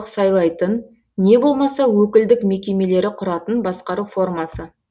сайлайтын не болмаса өкілдік мекемелері құратын басқару формасы